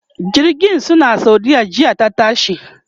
jirgin su na saudiya jiya ta tashi